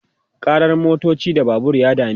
karar motoci da Babur ya dameta